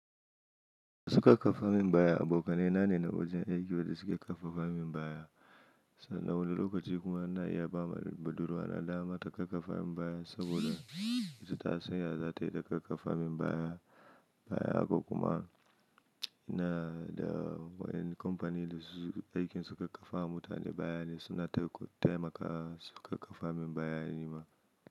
Su karfafa min baya, abokanai na ne na wajen aiki wa da suke karfafa min baya. Na wani lokaci kuma na iya ba ma budurwa na dama ta karfafa min baya saboda ita ta san ya za ta yi ta karfafa min baya. Baya kuma na da waɗannan kamfanin da suke aikin suka karfafa ma mutane baya ne suna taimaka suka karfafa min baya ni ma.